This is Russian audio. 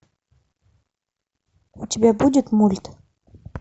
у тебя будет мульт